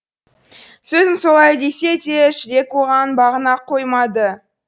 сөзім солай десе де жүрек оған бағына қоймады